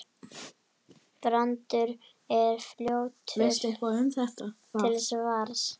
Brandur er fljótur til svars.